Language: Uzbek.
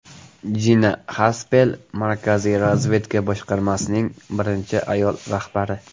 Jina Xaspel Markaziy razvedka boshqarmasining birinchi ayol rahbari.